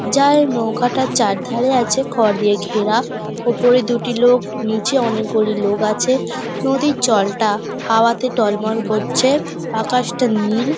যার নৌকাটার চারধারে আছে খড় দিয়ে ঘেরা ওপরে দুটি লোক নিচে অনেকগুলি লোক আছে নদীর জলটা হওয়াতে টলমল করছে আকাশটা নীল ।